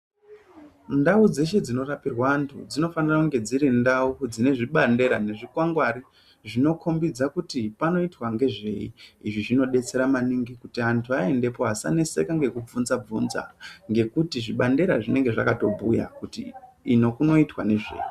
Ndau dzeshe dzino rapirwa antu dzinofanira kunge dziri ndau dzine zvipandera ne zvikwangwari zvinokombidza kuti panoitwa ngezvei izvi zvino detsera maningi kuti antu vaendepo vasa neseka neku bvunza bvunza ngekuti zvibandera zvinenge zvakato bhuya kuti iyo kunoitwa nezvei.